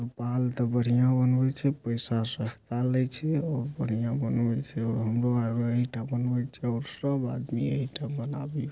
बाल तो बढ़िया बनिये छे पैसे सस्ता ले छे और बढ़िया बनल छे और हमरेआर येही ऐटा बनल छे. और सब आदमी यही बनावी--